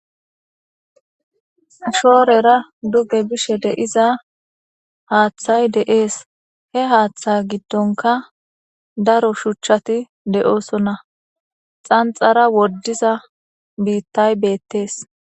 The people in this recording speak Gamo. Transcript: Shoorera duge bishe de iza haaththay de'ees he haaththa giddonka daro shuchchati deoosonna xanxara woddiza biittay beettees.